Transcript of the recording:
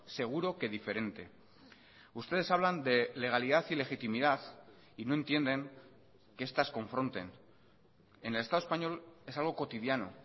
seguro que diferente ustedes hablan de legalidad y legitimidad y no entienden que estas confronten en el estado español es algo cotidiano